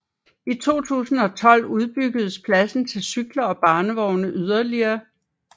I 2012 udbyggedes pladsen til cykler og barnevogne yderligere